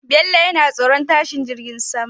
Bello na tsoron tashi jirgin sama